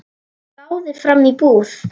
Hann gáði fram í búð.